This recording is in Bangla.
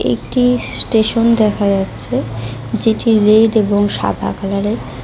একটি স্টেশন দেখা যাচ্ছে যেটি রেড এবং সাদা কালার -এর।